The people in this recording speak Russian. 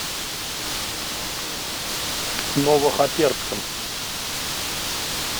новохоперском